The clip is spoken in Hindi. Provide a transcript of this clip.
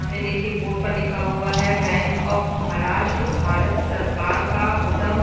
सामने देखिये बोर्ड पर लिखा हुआ है बैंक ऑफ महाराष्ट्र भारत सरकार का उद्यम--